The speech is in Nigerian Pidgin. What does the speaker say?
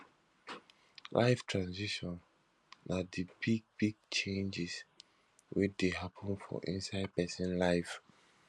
life transitions na di big big changes wey dey happen for inside person life